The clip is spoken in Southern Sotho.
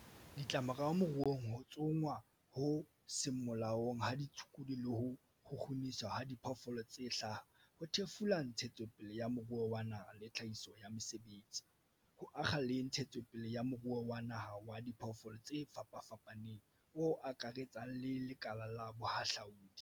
Ditlamorao moruong Ho tsongwa ho seng molaong ha ditshukudu le ho kgukguniswa ha diphoofolo tse hlaha ho thefula ntshetsopele ya moruo wa naha le tlhahiso ya mesebetsi, ho akga le ntshetsopele ya moruo wa naha wa diphoofolo tse fapafapaneng o akaretsang le lekala la bohahlaudi.